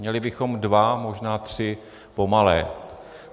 Měli bychom dva, možná tři, pomalé.